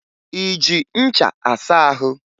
Ị ji ncha asa ahụ?